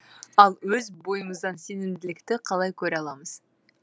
ал өз бойымыздан сенімділікті қалай көре аламыз